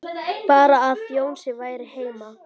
Bara að Jónsi væri heima.